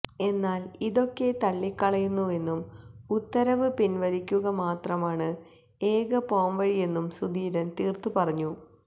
എന്നാല് ഇതൊക്കെ തള്ളിക്കളയുന്നുവെന്നും ഉത്തരവ് പിന്വലിക്കുക മാത്രമാണ് ഏക പോംവഴിയെന്നും സുധീരന് തീര്ത്ത് പറഞ്ഞു